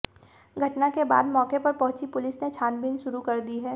घटना के बाद मौके पर पहुंची पुलिस ने छानबीन शुरू कर दी है